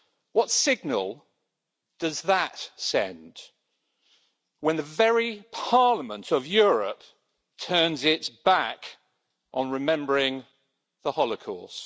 What signal does that send, when the very Parliament of Europe turns its back on remembering the holocaust?